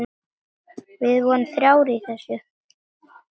Við vorum þrjár í þessu.